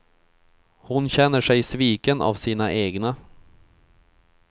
Hon känner sig sviken av sina egna.